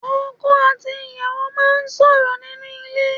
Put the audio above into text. Ọkọ̀ àti ìyàwó máa sọ̀rọ̀ nínú ilé